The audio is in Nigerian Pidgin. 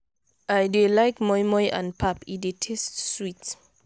i dey like moi moi and pap e dey taste sweet.